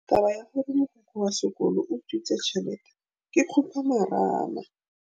Taba ya gore mogokgo wa sekolo o utswitse tšhelete ke khupamarama.